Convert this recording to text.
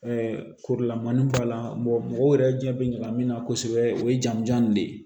korokalan b'a la mɔgɔw yɛrɛ ɲɛ bɛ ɲina min na kosɛbɛ o ye jamujan in de ye